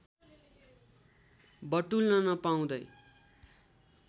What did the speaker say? बटुल्न नपाउँदै